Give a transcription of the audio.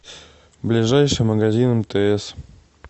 ближайший магазин мтс